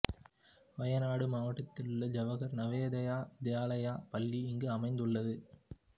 வயநாடு மாவட்டத்தில் உள்ள ஜவகர் நவோதயா வித்யாலயா பள்ளி இங்கு அமைந்துள்ளது